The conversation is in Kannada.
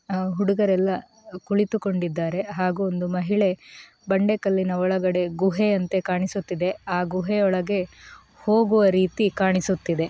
ಆ ಹುಡುಗರೆಲ್ಲ ಕುಳಿತುಕೊಂಡಿದ್ದಾರೆ ಹಾಗೂ ಒಬ್ಬ ಮಹಿಳೆ ಬಂಡೆಕಲ್ಲಿನ ಒಳಗೆ ಗುಹೆ ಅಂತ ಕಾಣಿಸುತ್ತಿದೆ ಹಾಗೂ ಗುಹೆಯೊಳಗೆ ಹೋಗುವ ರೀತಿ ಕಾಣಿಸುತ್ತಿದೆ.